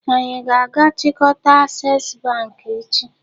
Anyi a ga-achikota Access Bank echi?